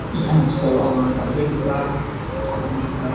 ia noksao anga dal·begipa dokanko nika.